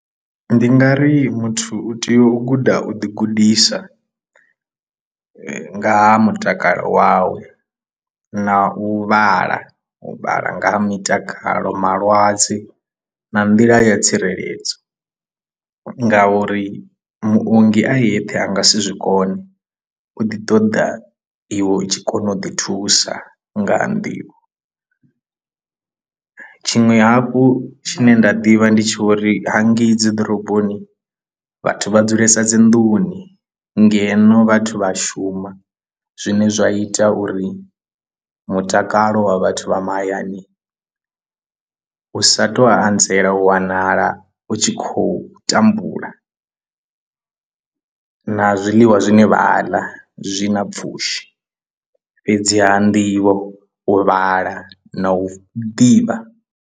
Ndi nga ri muthu u tea u guda u ḓi gudisa nga ha mutakalo wawe na u vhala u vhala nga ha mitakalo malwadze na nḓila ya tsireledzo ngauri muongi a yeṱhe a nga si zwi kone u ḓi ṱoḓa iwe u tshi kona u ḓi thusa ngaha nḓivho tshiṅwe hafhu tshine nda ḓivha ndi tshi uri hangei dzi ḓoroboni vhathu vha dzulesa dzi nḓuni ngeno vhathu vha a shuma zwine zwa ita uri mutakalo wa vhathu vha mahayani u sa tou anzela u wanala u tshi khou tambula na zwiḽiwa zwine vha a ḽa zwi na pfhushi fhedziha nḓivho u vhala na u ḓivha.